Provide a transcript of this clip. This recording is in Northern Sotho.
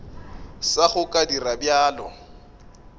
sa go ka dira bjalo